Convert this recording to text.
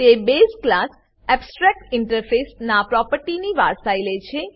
તે base class abstract interface નાં પ્રોપર્ટીની વારસાઈ લે છે